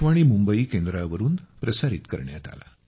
com पिबमुंबई पिबमुंबई